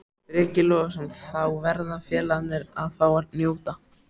Breki Logason: Þá verða félagarnir að fá að njóta?